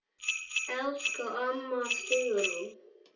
Elsku amma Sigrún.